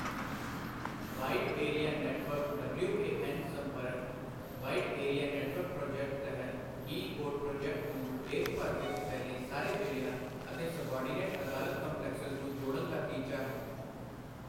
Wide area network W A N ਸੰਪਰਕ wide area network project ਤਹਿਤ e courts project ਨੂੰ ਦੇਸ਼ ਭਰ ਵਿੱਚ ਫੈਲੇ ਸਾਰੇ ਜ਼ਿਲਿਆਂ ਅਤੇ ਸਬਆਰਡੀਨੇਟ ਅਦਾਲਤ ਕੰਪਲੈਕਸੇਸ ਨੂੰ ਜੋੜਨ ਦਾ ਟੀਚਾ ਹੈ।